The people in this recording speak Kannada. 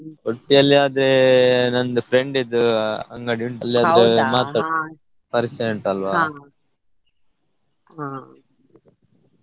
Udupi ಅಲ್ಲಿ ಆದ್ರೆ ನಂದು friend ಇದ್ದು ಅಂಗಡಿ ಉಂಟು ಪರಿಚಯ ಉಂಟಲ್ವ.